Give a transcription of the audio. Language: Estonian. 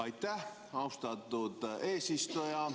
Aitäh, austatud eesistuja!